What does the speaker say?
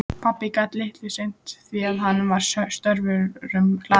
Pabbi gat litlu sinnt því að hann var störfum hlaðinn.